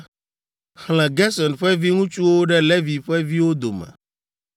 “Xlẽ Gerson ƒe viŋutsuwo ɖe Levi ƒe viwo dome,